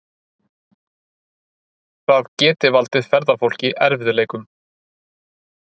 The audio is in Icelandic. Það geti valdið ferðafólki erfiðleikum